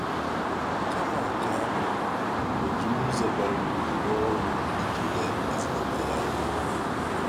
Kama nke ahụ, o jiri ụzọ bara uru rụọ ọrụ iji nye ezinụlọ ya ihe.